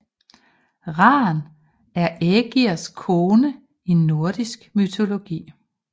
Ran er Ægirs kone i nordisk mytologi